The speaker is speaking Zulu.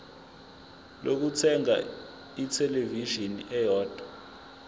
lokuthenga ithelevishini eyodwa